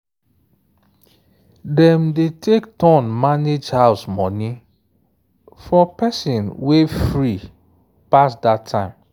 dem dey take turn manage house money for person way free pass that time.